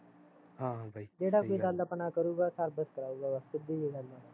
ਜਿਹੜਾ ਕੋਈ ਗੱਲ ਆਪਣੇ ਨਾਲ਼ ਕਰੂਗਾ service ਕਰਾਊਗਾ ਬਸ ਸਿੱਧੀ ਜਹੀ ਗੱਲ ਆ